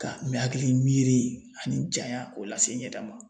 Ka n mɛ hakilimiiri ani janya k'o lase n yɛrɛ ma.